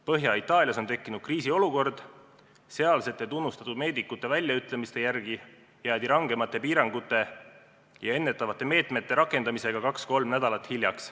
Põhja-Itaalias on tekkinud kriisiolukord, sealsete tunnustatud meedikute väljaütlemiste järgi jäädi rangemate piirangute ja ennetavate meetmete rakendamisega kaks-kolm nädalat hiljaks.